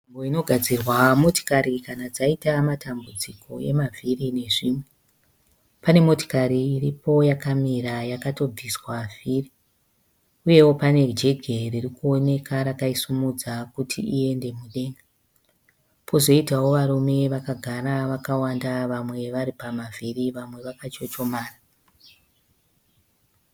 Nzvimbo inogadzirwa motikari kana dzaita matambudziko emavhiri nezvimwe. Pane motikari iripo yakamira yakatobviswa vhiri uyewo pane jegi ririkuoneka rakaisumudza kuti iende mudenga. Pozoitawo varume vakagara vakawanda vamwe varipamavhiri vamwe vakachochomara.